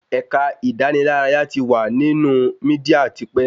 Ẹ̀ka ìdánilárayá ti wà nínú mídíà tipẹ́